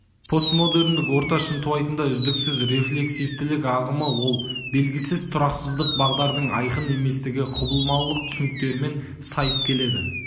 постмодерндік орта шынтуайтында үздіксіз рефлексивтілік ағымы ол белгісіздік тұрақсыздық бағдардың айқын еместігі құбылмалылық түсініктерімен сайып келеді